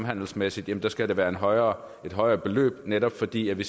handelsmæssigt skal det være et højere højere beløb netop fordi vi